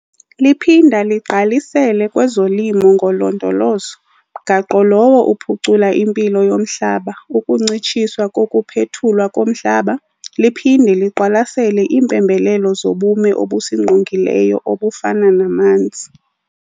Liphinda ligqalisele kwezoLimo ngoLondolozo, mgaqo lowo uphucula impilo yomhlaba, ukuncitshiswa kokuphethulwa komhlaba liphinde liqwalasele iimpembelelo zobume obusingqongileyo obufana namanzi.